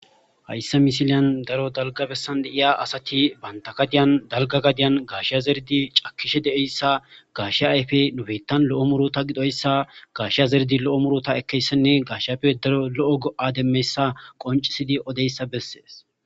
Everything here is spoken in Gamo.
hayssa misiliyan daro dalga bessan deiya asati bantagadiyan dalga gadiyan gaashiya zerdi cakkishe de7eyssa gashe ayfe nubeyttan lo7o muro ta gidoyssa gaashiya zerdi lo7o muro ta ekkeyssenne gashapfe daro lo7o go7ademmeyssa qoncisidi odeyssa bessees